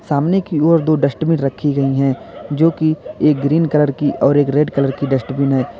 सामने की ओर दो डस्टबिन रखी गई हैं जोकि एक ग्रीन कलर की और एक रेड कलर की डस्टबिन हैं।